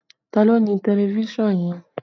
Ta ló ní tẹlifísàn yẹn?